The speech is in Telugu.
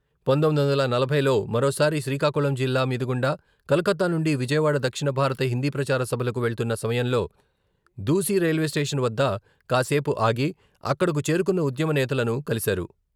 పంతొమ్మిది వందల నలభైలో మరోసారి శ్రీకాకుళం జిల్లా మీదు గుండా కలకత్తా నుండి విజయవాడ దక్షిణ భారత హిందీ ప్రచార సభలకు వెళ్తున్న సమయంలో దూసి రైల్వేస్టేషన్ వద్ద కాసేపు ఆగి అక్కడకు చేరుకున్న ఉద్యమ నేతలను కలిశారు.